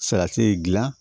Salati gilan